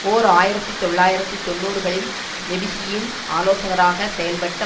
ஓர் ஆயிரத்தி தொள்ளாயிரத்து தொன்னூறுகளில் மெபிகியின் ஆலோசகராக செயல்பட்ட